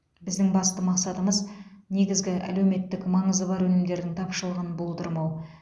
біздің басты мақсатымыз негізгі әлеуметтік маңызы бар өнімдердің тапшылығын болдырмау